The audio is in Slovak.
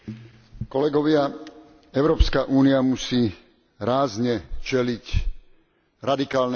Európska únia musí rázne čeliť radikálnemu islamu aj terorizmu.